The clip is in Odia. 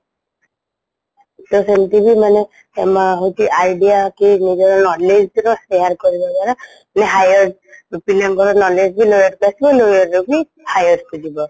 ତ ସେମିତିଵି ମାନେ ହଉଚି idea କି ନିଜର knowledge ର share କରିବା ଦ୍ଵାରା ମାନେ higher ପିଲାଙ୍କର knowledge ବି lower କୁ ଆସିବା lower ର ବି higher କୁ ଯିବା